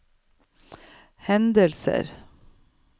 hendelser